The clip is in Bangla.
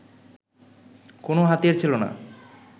কোনো হাতিয়ার ছিল না